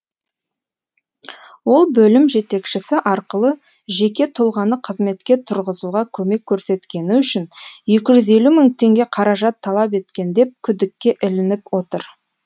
ол бөлім жетекшісі арқылы жеке тұлғаны қызметке тұрғызуға көмек көрсеткені үшін екі жүз елу мың теңге қаражат талап еткен деп күдікке ілініп отыр